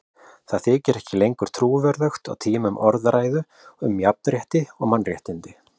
Það þykir ekki lengur trúverðugt á tímum orðræðu um jafnrétti og mannréttindi.